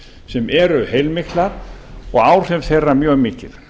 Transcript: sem eru heilmiklar og áhrif þeirra mjög mikil